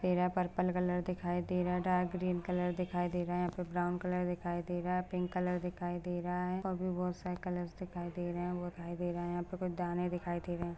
मेरा purple colour दिखाई दे रहा है डार्क ग्रीन कलर दिखाई दे रहा है यहाँ पे ब्राउन कलर दिखाई दे रहा है पिंक कलर दिखाई दे रहा है और भी बहुत सारे कलर दिखाई दे रहे है वो दिखाई दे रहा है यहाँ पे कुछ दाने दिखाई दे रहे है।